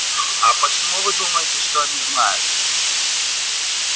а почему вы думаете что они знают